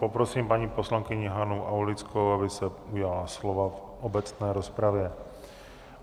Poprosím paní poslankyni Hanu Aulickou, aby se ujala slova v obecné rozpravě.